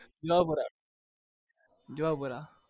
Juhapura